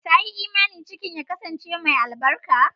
Ta yi imani cikin ya kasance albarka.